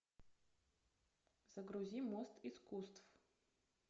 загрузи мост искусств